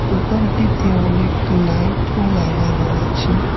দোকানটিতে অনেক লাইটও লাগানো আছে।